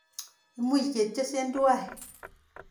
Imuch ketyense twai.